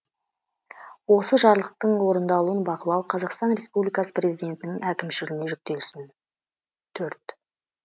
осы жарлықтың орындалуын бақылау қазақстан республикасы президентінің әкімшілігіне жүктелсін төрт